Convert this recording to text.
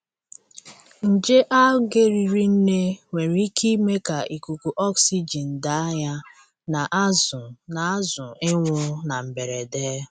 Nje Algae riri nne nwere ike ime ka ikuku oxygen daa ya na azụ na azụ ịnwụ na mberede.